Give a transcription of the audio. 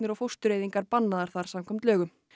og fóstureyðingar bannaðar þar samkvæmt lögum